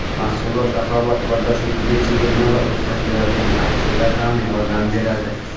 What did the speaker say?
Mahsulot raqobatbardoshliligiga chegirma va o‘tkazilayotgan aksiyalar ham yordam beradi.